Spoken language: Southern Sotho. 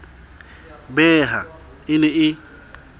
be ha e ne e